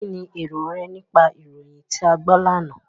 Kínni èrò rẹ nípa ìròyìn tí a gbọ́ lánàá?